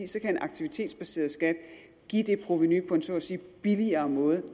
så kan en aktivitetsbaseret skat give det provenu på en så at sige billigere måde